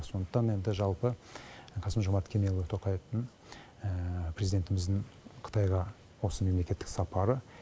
сондықтан енді жалпы қасым жомарт кемелұлы тоқаевтың президентіміздің қытайға осы мемлекеттік сапары